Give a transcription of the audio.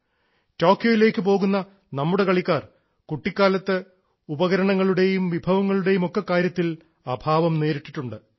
ടോക്കിയോയിലേക്കു പോകുന്ന നമ്മുടെ കളിക്കാർ കുട്ടിക്കാലത്ത് ഉപകരണങ്ങളുടേയും വിഭവങ്ങളുടേയുമൊക്കെ കാര്യത്തിൽ അഭാവം നേരിട്ടിട്ടുണ്ട്